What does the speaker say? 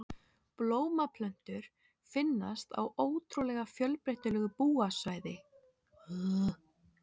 Blómplöntur finnast á ótrúlega fjölbreytilegu búsvæði á þurrlendi jarðar en flestar tegundir finnast í regnskógunum.